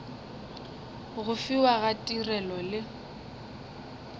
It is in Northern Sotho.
go fiwa ga tirelo le